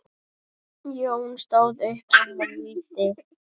Jón stóð upp og mælti